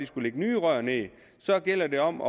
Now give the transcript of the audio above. skulle lægge nye rør ned og så gælder det om at